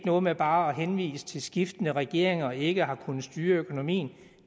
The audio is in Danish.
noget med bare at henvise til at skiftende regeringer ikke har kunnet styre økonomien